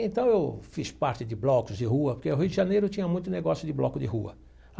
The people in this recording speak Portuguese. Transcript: Então, eu fiz parte de blocos de rua, porque o Rio de Janeiro tinha muito negócio de bloco de rua.